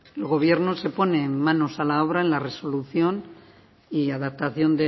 el gobierno se pone manos a la obra en la resolución y adaptación